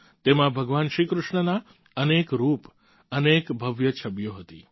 તેમાં ભગવાન શ્રી કૃષ્ણના અનેક રૂપ અનેક ભવ્ય છબીઓ હતી